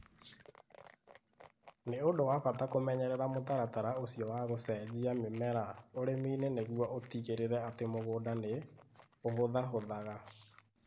Nĩ ũndũ wa bata kũmenyerera mũtaratara ũcio wa gũcenjia mĩmera ũrimi-inĩ nĩguo ũtigĩrĩre atĩ mũgũnda nĩ ũhũthahũthaga.